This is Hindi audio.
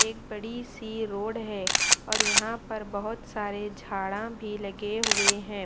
एक बड़ी सी रोड है और यहाँ पर बहुत सारे झाड़ा भी लगे हुए हैं।